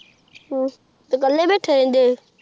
ਹ੍ਮ੍ਮ ਤੇਹ ਕਾਲੇ ਬੈਠੇ ਰਹੰਦੇ